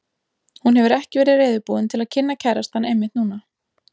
Hún hefur ekki verið reiðubúin til að kynna kærastann einmitt núna.